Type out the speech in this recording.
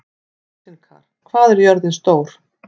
Rósinkar, hvað er jörðin stór?